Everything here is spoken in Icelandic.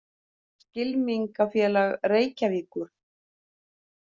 Skylmingafélag Reykjavíkur.